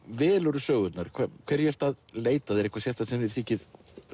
velurðu sögurnar hverju ertu að leita að er eitthvað sérstakt sem þér þykir